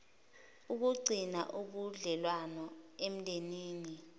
ukugcina ubudlelwano emndenini